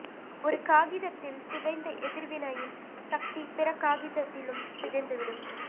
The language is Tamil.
ஒரு காகிதத்தில் சிதைந்த எதிர்வினையின் சக்தி பிற காகிதத்திலும் சிதைந்துவிடும்